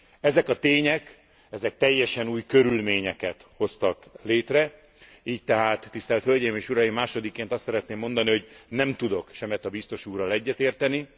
Ezek a tények teljesen új körülményeket hoztak létre, így tehát, tisztelt hölgyeim és uraim, másodikként azt szeretném mondani, hogy nem tudok Semeta biztos úrral egyetérteni.